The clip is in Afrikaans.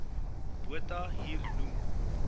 botha hier noem